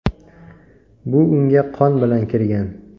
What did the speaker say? Bu unga qon bilan kirgan.